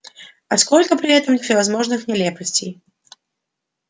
а сколько при этом всевозможных нелепостей